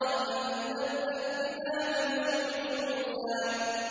أَمْ لَمْ يُنَبَّأْ بِمَا فِي صُحُفِ مُوسَىٰ